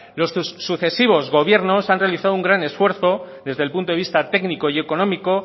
los sucesivos gobiernos han realizado un gran esfuerzo desde el punto de vista técnico y económico